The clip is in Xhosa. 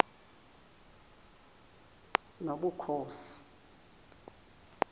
nobukhosi